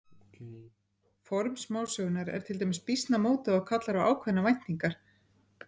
Form smásögunnar er til dæmis býsna mótað og kallar á ákveðnar væntingar.